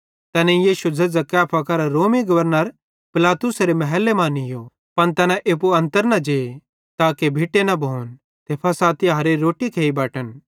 तैनेईं यीशु झ़ेझ़ां कैफा करां रोमी गवर्नर पिलातुसेरे महले मां नीयो पन तैना एप्पू अन्तर न जे ताके भिटे न भोन ते फ़सह तिहारेरी रोट्टी खेइ बटन